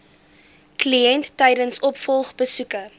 kliënt tydens opvolgbesoeke